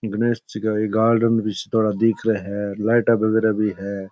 गणेश जी का एक गार्डन बी सा दिख रहा है लाइट बगेरा भी है।